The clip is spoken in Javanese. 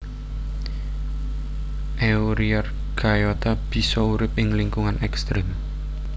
Euryarchaeota bisa urip ing lingkungan ekstrem